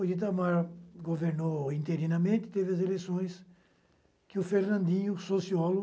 O Itamar governou interinamente, teve as eleições, que o Fernandinho, sociólogo,